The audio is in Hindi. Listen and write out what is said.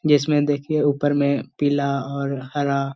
इसमें देखिये ऊपर में पीला और हरा --